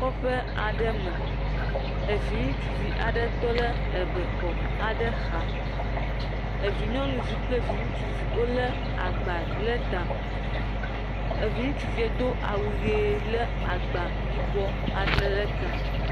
Kɔƒe aɖe me. Evi ŋutsuvi tɔ ɖe ebɛxɔ aɖe xa. Evi nyɔnuvi kple evi ŋutsuvi wolé agba lé ta. Evi ŋutsuviɛ do awu ʋee lé agba yibɔ ale le ta.